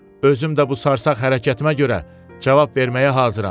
Özüm də bu sarsaq hərəkətimə görə cavab verməyə hazıram.